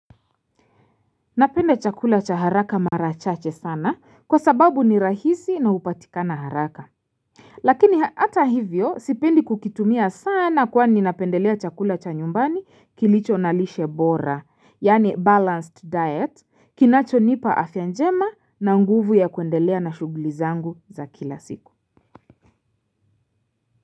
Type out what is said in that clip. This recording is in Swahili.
Napende chakula cha haraka marachache sana kwa sababu ni rahisi na hupatikana haraka. Lakini hata hivyo sipendi kukitumia sana kwani napendelea chakula cha nyumbani kilicho na lishe bora yani balanced diet kinacho nipa afya njema na nguvu ya kuendelea na shuguli zangu za kila siku.